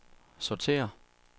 sortér